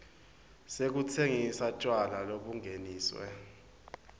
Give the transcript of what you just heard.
sekutsengisa tjwala lobungeniswe